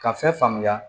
Ka fɛn faamuya